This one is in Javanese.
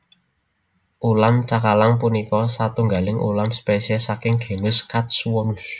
Ulam cakalang punika satunggaling ulam spesies saking genus Katsuwonus